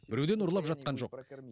біреуден ұрлап жатқан жоқ